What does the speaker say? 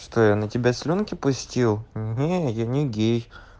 что я на тебя слюнки пустил не я не гей